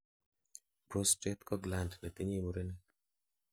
prostate ko gland netinyei murenik